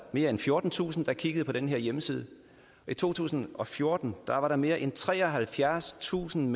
mere end fjortentusind at kigge på den her hjemmeside og i to tusind og fjorten var mere end treoghalvfjerdstusind